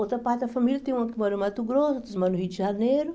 Outra parte da família tem uma que mora no Mato Grosso, outra que mora no Rio de Janeiro.